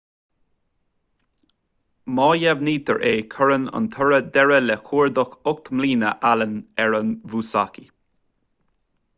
má dheimhnítear é cuireann an toradh deireadh le cuardach ocht mbliana allen ar an musashi